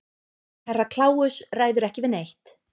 Og Herra Kláus ræður ekki við neitt.